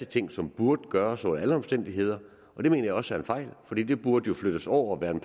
ting som burde gøres under alle omstændigheder og det mener jeg også er en fejl for det det burde jo flyttes over og være en